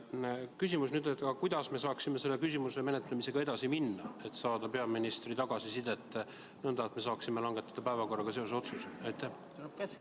Küsimus: kuidas me saaksime selle küsimuse menetlemisega edasi minna, et saada peaministri tagasisidet ja langetada otsuse päevakorra kohta?